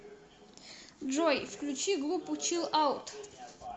джой включи группу чилл аут